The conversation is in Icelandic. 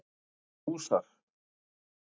Ertu með hús þar?